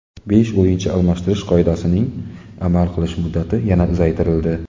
Besh o‘yinchi almashtirish qoidasining amal qilish muddati yana uzaytirildi.